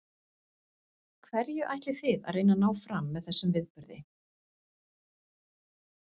Hverju ætlið þið að reyna að ná fram með þessum viðburði?